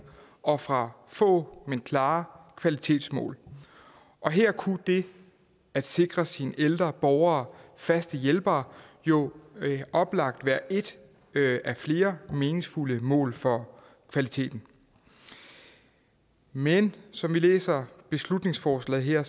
og ud fra få men klare kvalitetsmål og her kunne det at sikre sine ældre borgere faste hjælpere jo oplagt være et af flere meningsfulde mål for kvaliteten men som vi læser beslutningsforslaget her